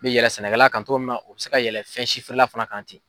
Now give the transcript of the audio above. bɛ yɛlɛ sɛnɛkɛla kan cogo min o bɛ se ka yɛlɛ fɛn si fɛɛrɛ la fana kan ten.